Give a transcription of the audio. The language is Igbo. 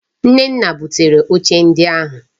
Nnenna butere oche ndi ohuu.